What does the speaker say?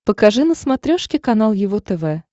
покажи на смотрешке канал его тв